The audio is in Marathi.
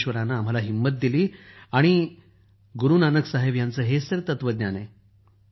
परमेश्वरानं आम्हाला हिमत दिली आणि गुरू नानक साहेब यांचं हेच तत्वज्ञान आहे